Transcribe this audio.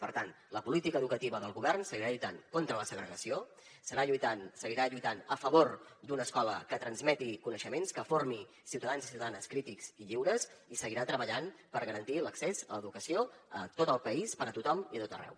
per tant la política educativa del govern seguirà lluitant contra la segregació seguirà lluitant a favor d’una escola que transmeti coneixements que formi ciutadans i ciutadanes crítics i lliures i seguirà treballant per garantir l’accés a l’educació a tot el país per a tothom i a tot arreu